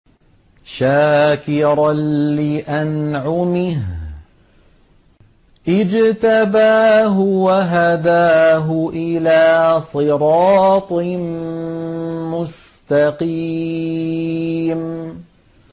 شَاكِرًا لِّأَنْعُمِهِ ۚ اجْتَبَاهُ وَهَدَاهُ إِلَىٰ صِرَاطٍ مُّسْتَقِيمٍ